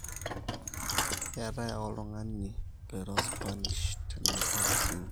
keetae ake oltungani loiro spanish tena opis inyi